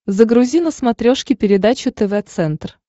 загрузи на смотрешке передачу тв центр